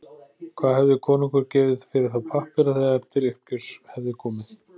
Hvað hefði konungur gefið fyrir þá pappíra þegar til uppgjörs hefði komið?